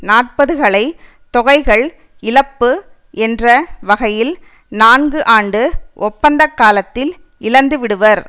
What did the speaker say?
நாற்பதுகளை தொகைகள் இழப்பு என்ற வகையில் நான்கு ஆண்டு ஒப்பந்தக் காலத்தில் இழந்துவிடுவர்